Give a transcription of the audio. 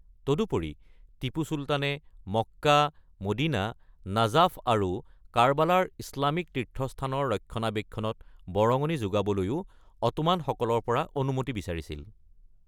তদুপৰি টিপু চুলতানে Mecca, Medina, Najaf আৰু কাৰবালাৰ ইছলামিক তীৰ্থস্থানৰ ৰক্ষণাবেক্ষণত বৰঙণি যোগাবলৈও অটোমানসকলৰ পৰা অনুমতি বিচাৰিছিল।